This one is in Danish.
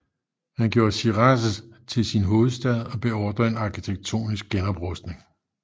Han gjorde Shiraz til sin hovedstad og beordrede en arkitektonisk genoprustning